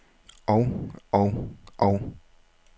og og og